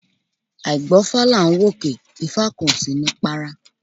Àìgbófá là n wòkè, ifa kan o si ni para